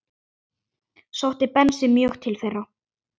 Sótti Bensi mjög til þeirra.